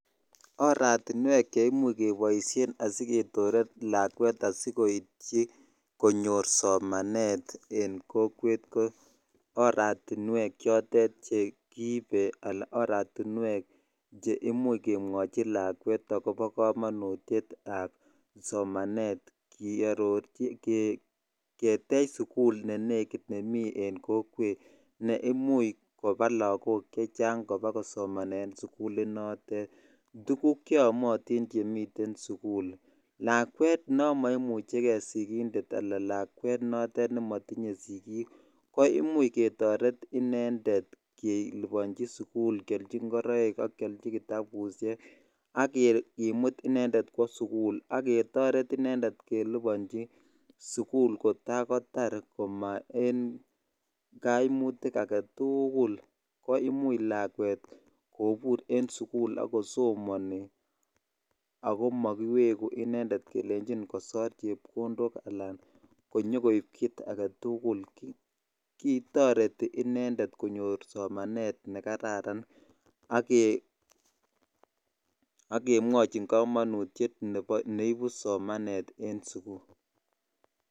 Oratinwek cheimuc keboishen asiketoret lakwet asikoityi konyor somanet en kokwet ko oratinwek chotet chekiibe alaan oratinwek cheimuch kemwochi lakwet akobo komonutietab somanet kiarorchi, ketech sukul nenekit en kokwet neimuch kobaa lakok chechang kobakosomanen sukulinotet, tukuk cheyomotin chemiten sukul, lakwet nomoimucheke sikindet alaan lakwet nomotiye sikiik ko imuch ketoret inendet kelibonchi sukul kiolchi ng'oroik, kiolchi kitabushek, ak kimut inendet kwoo sukul ak ketoret inendet kelibonchi sukul kotakotar komaa en koimutik aketukul ko imuch lakwet kobur lakwet en sukul ak kosomoni ak ko mokiweku inendet kelenchin kosor chepkondok alaan konyo koib kiit aketukul, kitoreti inendet konyor somanet nekararan ak kemwochin komonutiet neibu somanet en sukul.